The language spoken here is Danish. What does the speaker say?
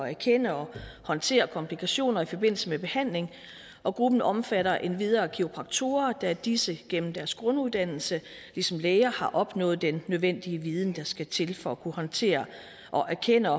erkende og håndtere komplikationer i forbindelse med behandling og gruppen omfatter endvidere kiropraktorer da disse igennem deres grunduddannelse ligesom læger har opnået den nødvendige viden der skal til for at kunne håndtere og erkende